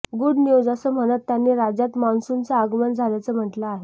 good news असं म्हणत त्यांनी राज्यात मान्सूनचं आगमन झाल्याचं म्हटलं आहे